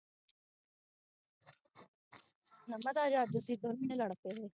ਤੁਸੀ ਦੋਨੋ ਜਾਣੇ ਲੜ ਪਏ ਹੋ